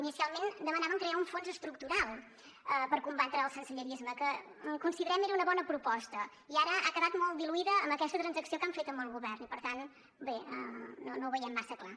inicialment demanaven crear un fons estructural per combatre el sensellarisme que considerem que era una bona proposta i ara ha quedat molt diluïda amb aquesta transacció que han fet amb el govern i per tant bé no ho veiem massa clar